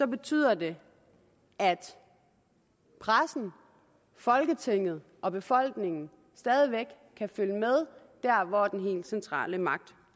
betyder det at pressen folketinget og befolkningen stadig væk kan følge med der hvor den helt centrale magt